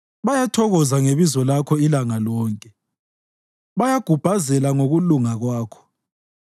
Bayathokoza ngebizo lakho ilanga lonke; bayagubhazela ngokulunga kwakho.